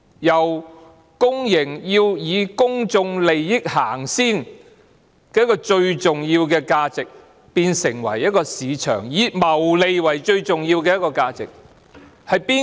一家公營機構以公眾利益先行，這個最重要的價值，在私有化後就變成在市場謀利。